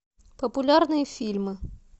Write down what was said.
популярные фильмы